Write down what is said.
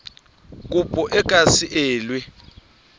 kopo e ka se elwe